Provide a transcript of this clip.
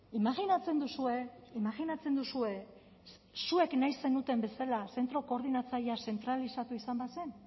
imajinatzen duzue imajinatzen duzue zuek nahi zenuten bezala zentro koordinatzailea zentralizatu izan bazen